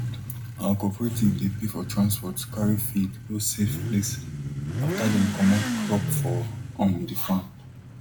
our cooperative dey pay for transport carry feed go safe place after dem comot crop for um the farm